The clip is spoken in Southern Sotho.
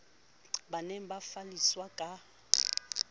ba ne ba falliswa ka